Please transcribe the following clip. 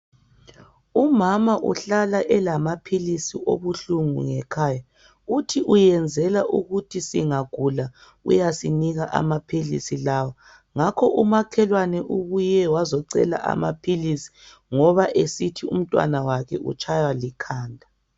Umama uhlala elama philisi obuhlungu ngekhaya uthi uyenzela ukuthi singagula uyasinika amaphilisi lawa ngakho umakhelwane ubuye wazocela amaphilisi ngoba esithi umntwana wakhe utshaywa likhanda